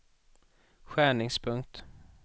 skärningspunkt